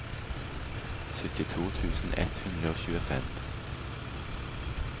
syttito tusen ett hundre og tjuefem